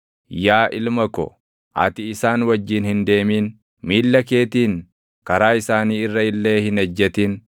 yaa ilma ko, ati isaan wajjin hin deemin; miilla keetiin karaa isaanii irra illee hin ejjetin;